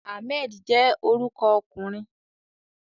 Ahmed je oruko okunrin